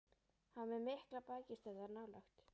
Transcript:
Hann var með miklar bækistöðvar nálægt